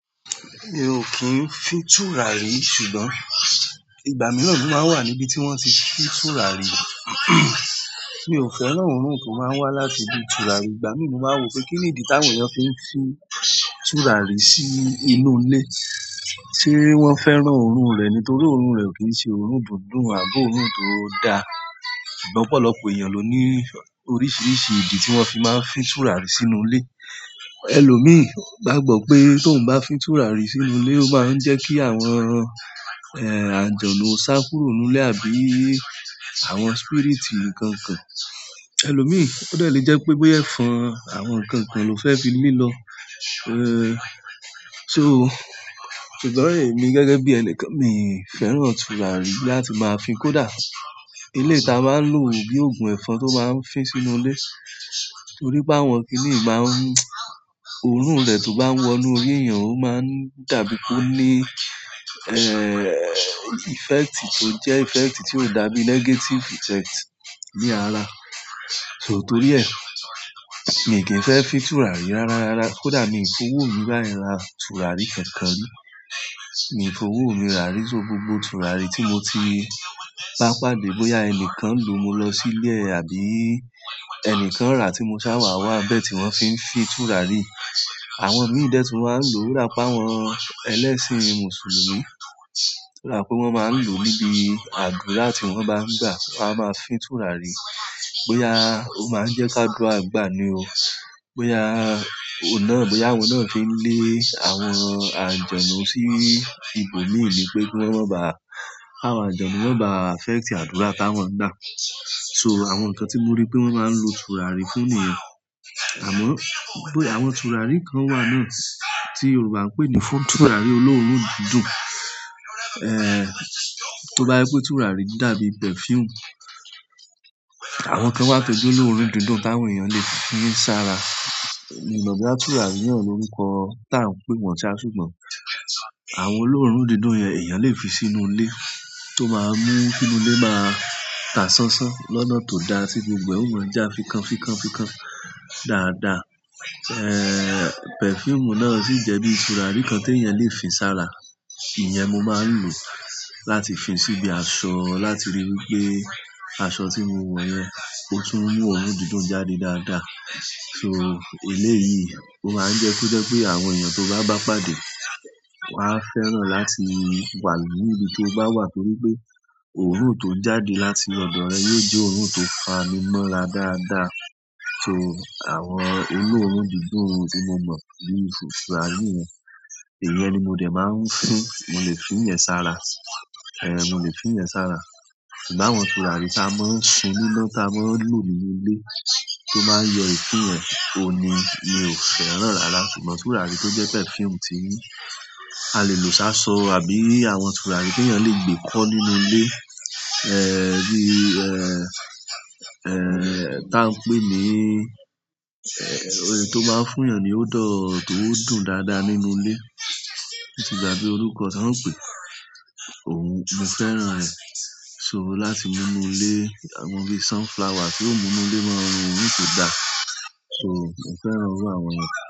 Mi ò kí ń fi tùràrí, ṣùgbọ́n ìgbà mìíràn ni mo màá wà níbi tí wọ́n ti fi tùràrí. Mi ò fẹ́ràn òórùn tó máa ń wá láti bí tùràrí. Ìgbà mìíràn mó máa ń wò pé kíni ìdí táwọn èèyàn fi ń fi tùràrí sí inú ilé. Ṣé wọ́n fẹ́ràn òórùn rẹ̀? Nítorí òórùn rẹ̀ ò kí ń ṣe òórùn tó dùn àbí òórùn tó dáa. Ṣùgbọ́n ọ̀pọ̀lọpọ̀ èèyàn ló ní oríṣiríṣi ìdí tí wọ́n fi máa ń fi tùràrí sínú ilé. Ẹlòmíràn gbàgbọ́ pé tí òhun bá fín tùràrí sínú ilé, o máa jẹ́ ki àwọn àlùjànú o sá kúrò nínú ilé àbí àwọn spirit nkan kan. Ẹlòmíràn ó dẹ̀ le jẹ́ pé bóyá ẹ̀fọn àwọn ǹkan kan ni ó fẹ́ fi lé lọ. Ẹ́ẹ́, so ṣùgbọ́n èmi gẹ́gẹ́ bí ẹnìkan, mi ò fẹ́ràn tùràrí láti máa fi kó dà. Eléyìí ta máa ń lò bí òògùn ẹ̀fọn tó máa ń fi sínú ilé. Torí bá wọn kì í máa ń mú òórùn rẹ̀ tó bá ń wọ inú orí èèyàn, ó máa ń dàbí kó ní, ẹ́ẹ́, effect tó jẹ́ effect tí ó dàbí negative effect ní ara. So torí ẹ, mi kì í fẹ́ fi tùràrí rárá rárá. Kódà mi ò kìn wò báyẹn mi ra tùràrí kankan rí. Mi ò fo owó mi rárí só gbogbo tùràrí tí mo ti bá pàdé bóyá ẹni kan lò mo lọ sílé àbí ẹni kan rà tí mo sábà wá bẹ tí wọ́n fi ń fi tùràrí. Àwọn míì dẹ́ tún máa ń lò rá páwọn ẹlẹ́sìn Mùsùlùmí. Rà pé wọ́n máa ń lò níbi àdúrà tí wọ́n bá ń gbà, wọ́n á máa fi tùràrí. Bóyá ó máa ń jẹ́ kádùá gbà ni o. Bóyá òhun náà l, bóyá òhun náà fí ń lé àwọn àlùjànú sí ibòmíì ni pé kí wọ́n má ba à-- káwọn àlùjànú máa ba effect àdúrà táwọn ń gbà. So àwọn nǹkan tí mo rí pé wọ́n máa ń lo tùràrí fún ni yẹn. Àmọ́, bóyá àwọn tùràrí kan wà náà tí Yorùbá ń pè ní fún tùràrí olóòórùn dídùn, ẹ́ẹ́, tó bá rí pé tùràrí dàbí perfume. Àwọn kan wà tó jẹ́ olóòórùn dídùn táwọn èèyàn lè fi sára. Mi ò mọ̀ bí à tùràrí náà lorúkọ ń pẹ́ tí à ń pè wọ́n ṣá, ṣùgbọ́n àwọn olóórùn dídùn yẹn èèyàn lè fi sínú ilé tó máa mú kínú ilé máa tà ṣánṣán lọ́nà tó da sí gbogbo. Ó máa ń jà fikán, fikán, fikán dáadáa. Ẹ́ẹ́, perfume náà sì jẹ́ bí tùràrí kan tí èèyàn lè fi sára. Ìyẹn mo máa ń lò láti fi síbi aṣọ láti ríi wí pé aṣọ tí mo wọ̀ yẹn, ó tún mú òórùn dídùn jáde dáadáa. So eléyìí, ó máa ń jẹ́ kó jẹ́ pé àwọn èèyàn tó bá bá pàdé wàá fẹ́ràn láti wà níbi tó bá wà torí pé òórùn tó ń jáde láti ọ̀dọ̀ rẹ yóò jẹ́ òórùn tó fa ni mọ́ra dáadáa. So àwọn olóórùn dídùn tí mo mọ̀ bíi fùfù tùràrí yẹn, èèyàn ni mo dè máa ń fín. Mo lè fín yẹn sára. Ẹ̀ẹ́, mo lẹ̀ fín yẹn sára. Ṣùgbọ́n àwọn tùràrí táa máa ń sun níná táa máa ń lò nínú ilé tó máa ń yọ èfín yẹn, òhun ni mi ò fẹ́ràn rárá. Àmọ tùràrí to jẹ́ perfume ti a lè lò sásọ àbí àwọn tùràrí ti èèyàn le gbé kó nínú ilé bí ehn ehn tí a n pé ní tó máa fún èèyàn ni odour tó tùn dáadáa nínú ilé. Mo ti gbàgbé orúkọ táa ń pè, òhun mo fẹ́ràn rẹ̀. So láti mú inú ilé, àwọn bí sunflower tí ó mú inú ilé máa ń run òórùn tó da. So mo fẹ́ràn irú àwọn yẹn.